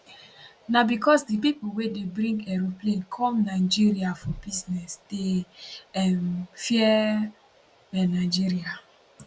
na becos di pipo wey dey bring aeroplane come nigeria for business dey um fear um nigeria